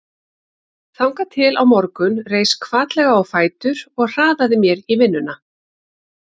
Þangað til á morgun reis hvatlega á fætur og hraðaði mér í vinnuna.